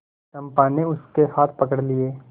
चंपा ने उसके हाथ पकड़ लिए